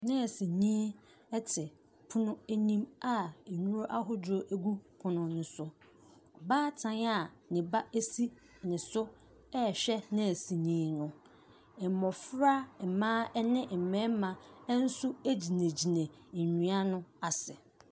Nɛɛsenii ɛte pono anim a nnuro ahodoɔ gu pono no so. Ɔbaatan a ne ba ɛsi ne so ɛɛhwɛ nɛɛsini no. Mmɔfra, ɛmaa ɛne mmɛɛma ɛnso ɛgyinagyina nnua no ase.